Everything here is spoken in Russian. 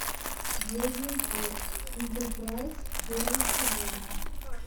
звездный путь интерпрайс первый сезон